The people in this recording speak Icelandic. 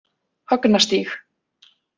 Högnastíg